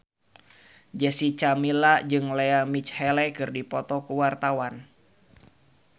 Jessica Milla jeung Lea Michele keur dipoto ku wartawan